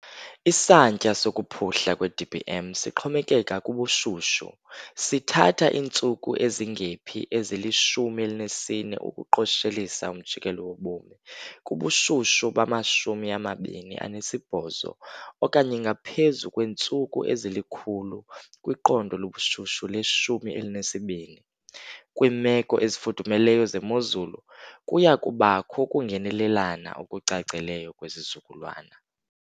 Isantya sokuphuhla kweDBM sixhomekeka kubushushu, sithatha iintsuku ezingephi ezili-14 ukuqoshelisa umjikelo wobomi kubushushu bama-28 okanye ngaphezu kweentsuku ezili-100 kwiqondo lobushushu le 12. Kwiimeko ezifudumeleyo zemozulu kuya kubakho ukungenelelana okucacileyo kwezizukulwana.